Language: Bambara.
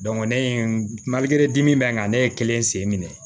ne ye di min bɛ n kan ne ye kelen sen minɛ